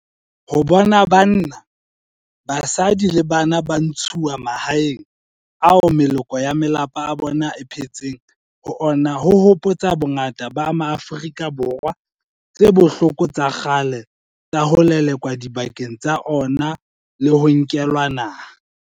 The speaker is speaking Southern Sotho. Ho bona banna, basadi le bana ba ntshuwa mahaeng ao meloko ya malapa a bona e phetseng ho ona ho hopotsa bongata ba Maafrika Borwa tse bohloko tsa kgale tsa ho lelekwa dibakeng tsa ona le ho nkelwa naha.